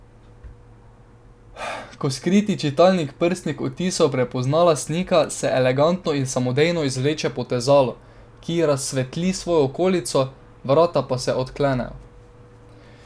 Ko skriti čitalnik prstnih odtisov prepozna lastnika, se elegantno in samodejno izvleče potezalo, ki razsvetli svojo okolico, vrata pa se odklenejo.